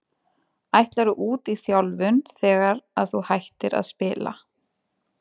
Ætlarðu út í þjálfun þegar að þú hættir að spila?